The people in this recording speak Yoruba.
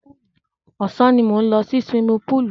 Ọ̀sán ni mò ń lọ sí suwimi púùlù.